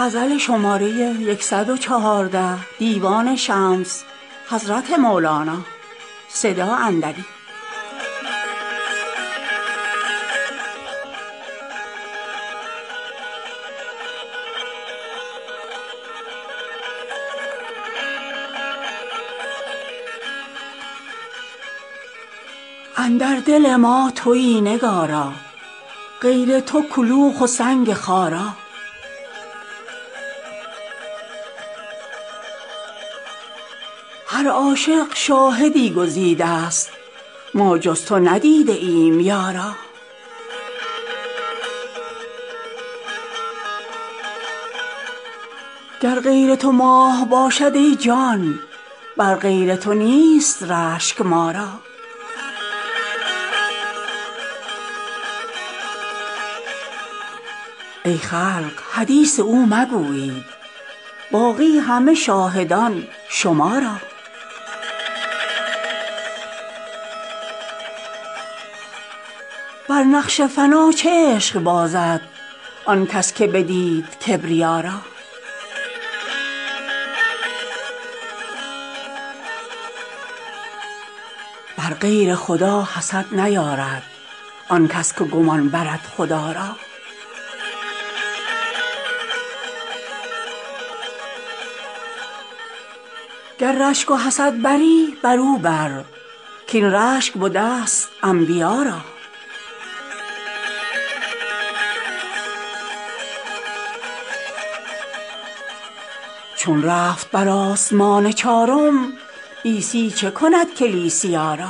اندر دل ما توی نگارا غیر تو کلوخ و سنگ خارا هر عاشق شاهدی گزیدست ما جز تو ندیده ایم یارا گر غیر تو ماه باشد ای جان بر غیر تو نیست رشک ما را ای خلق حدیث او مگویید باقی همه شاهدان شما را بر نقش فنا چه عشق بازد آن کس که بدید کبریا را بر غیر خدا حسد نیارد آن کس که گمان برد خدا را گر رشک و حسد بری برو بر کاین رشک بدست انبیا را چون رفت بر آسمان چارم عیسی چه کند کلیسیا را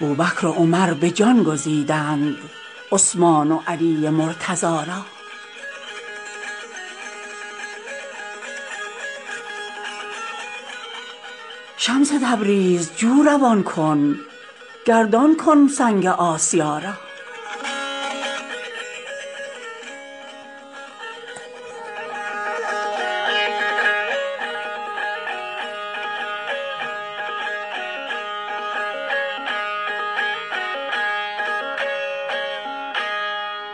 بوبکر و عمر به جان گزیدند عثمان و علی مرتضا را شمس تبریز جو روان کن گردان کن سنگ آسیا را